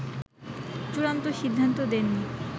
চুড়ান্ত সিদ্ধান্ত দেননি